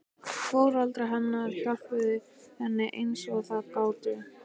Foreldrar hennar hjálpuðu henni eins og þau gátu.